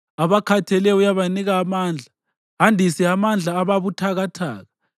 Abakhatheleyo uyabanika amandla, andise amandla ababuthakathaka.